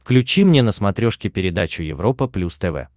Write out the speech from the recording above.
включи мне на смотрешке передачу европа плюс тв